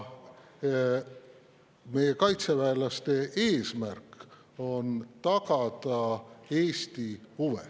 Meie kaitseväelaste eesmärk on tagada Eesti huve.